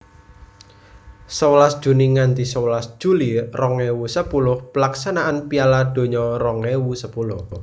Sewelas Juni nganthi sewelas Juli rong ewu sepuluh Pelaksanaan Piala Donya rong ewu sepuluh